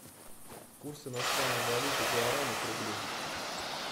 курс иностранной валюты гуарани к рублю